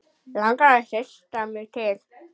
Langar að hrista mig til.